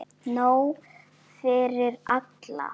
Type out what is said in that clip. Nóg fyrir alla!